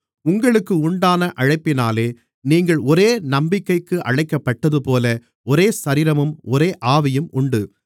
உங்களுக்கு உண்டான அழைப்பினாலே நீங்கள் ஒரே நம்பிக்கைக்கு அழைக்கப்பட்டதுபோல ஒரே சரீரமும் ஒரே ஆவியும் உண்டு